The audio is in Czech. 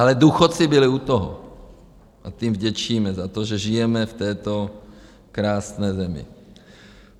Ale důchodci byli u toho a těm vděčíme za to, že žijeme v této krásné zemi.